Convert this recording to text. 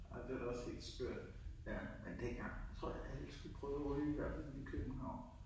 Ej det var da også helt skørt ja, men dengang tror jeg alle skulle prøve at ryge. I hvert fald i København